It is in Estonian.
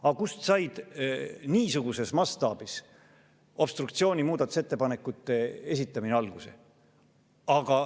Aga kust sai niisuguses mastaabis obstruktsiooni muudatusettepanekute esitamine alguse?